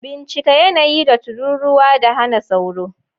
Bincika yanayi da tururuwa da hana sauro